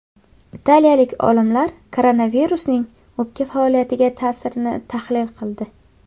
Italiyalik olimlar koronavirusning o‘pka faoliyatiga ta’sirini tahlil qildi.